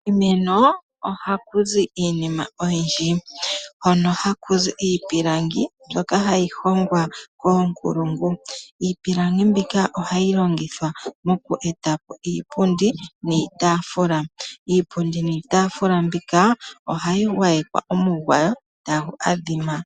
Kiimeno ohaku zi iinima oyindji, hono haku zi iipilangi mbyoka hayi hongwa koonkulungu. Iipilangi mbika ohayi longithwa moku etapo iipundi niitaafula. Iipundi niitaafula mbika, ohayi gwayekwa omugwayo tagu adhima.